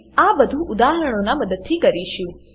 આપણે આ બધુ ઉદાહરણોનાં મદદથી કરીશું